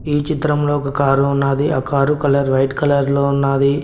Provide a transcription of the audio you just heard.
ఈ చిత్రంలో ఒక కారు ఉన్నాది ఆ కారు కలర్ వైట్ కలర్ లో ఉన్నాది.